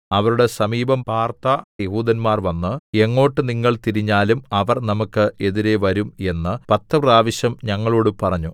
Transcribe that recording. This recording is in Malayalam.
അവരുടെ സമീപം പാർത്ത യെഹൂദന്മാർ വന്ന് എങ്ങോട്ട് നിങ്ങൾ തിരിഞ്ഞാലും അവർ നമുക്ക് എതിരെ വരും എന്ന് പത്ത് പ്രാവശ്യം ഞങ്ങളോട് പറഞ്ഞു